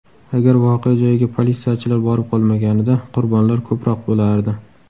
Agar voqea joyiga politsiyachilar borib qolmaganida qurbonlar ko‘proq bo‘lardi.